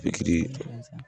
Pikiri